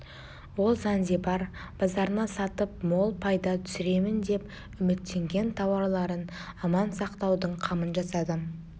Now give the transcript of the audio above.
ол занзибар базарына сатып мол пайда түсіремін деп үміттенген тауарларын аман сақтаудың қамын жасады